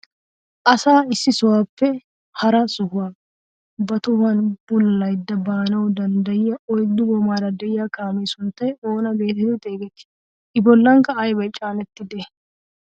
Asaa issi sohuwaappe hara sohuwaa ba tohuwaan bululayda baanawu danddayiyaa oyddu goomaara de'iyaa kaamee sunttay oona getetti xeegettii? i bollankka aybay caanettidee?